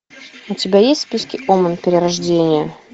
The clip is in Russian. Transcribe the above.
у тебя есть в списке омен перерождение